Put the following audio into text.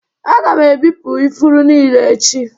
Aga m ebipụ ifuru niile echi